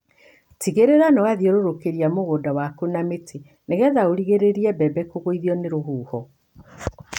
Tigĩrĩra nĩ wathiũrũrũkĩria mũgũnda waku na mĩtĩ nĩgetha ũrigĩrĩrie mbembe kũgũithio nĩ rũhuho.